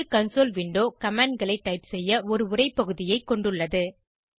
script console window commandகளை type செய்ய ஒரு உரை பகுதியைக் கொண்டுள்ளது